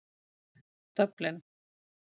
Dublin